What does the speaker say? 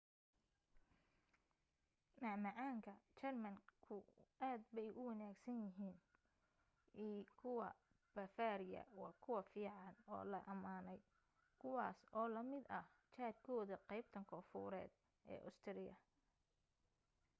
macmacaan ka german ku aad bay u wanaagsan yahiin i kuwa bavaria waa kuwa fican oo la amaaney kuwaas oo la mid ah jaar kooda qeybta koonfureed ee austria